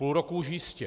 Půl roku už jistě.